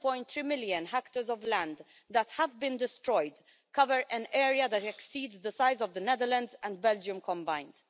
7.3 million hectares of land that have been destroyed cover an area that exceeds the size of the Netherlands and Belgium combined.